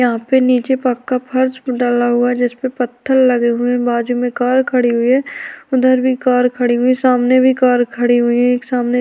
यहाँ पे नीचे पक्का फर्श डाला हुआ हैं जिस में पथल लगे हुए हैं बाजु में कार खड़ी हुई हैं उधर भी कार खड़ी हुई हैं सामने भी कार खड़ी हुई है एक सामने --